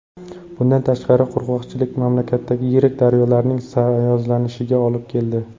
Bundan tashqari, qurg‘oqchilik mamlakatdagi yirik daryolarning sayozlanishiga olib keldi.